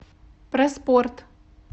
проспорт